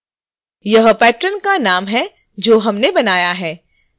यह patron का नाम है जो हमने बनाया